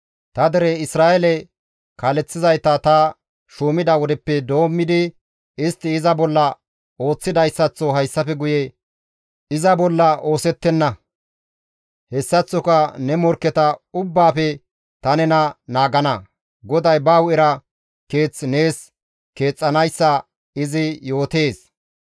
Ta dere Isra7eele kaaleththizayta ta shuumida wodeppe doommidi istti iza bolla ooththidayssaththo hayssafe guye iza bolla oosettenna; hessaththoka ne morkketa ubbaafe ta nena naagana. GODAY ba hu7era keeth nees keexxanayssa izi yootees.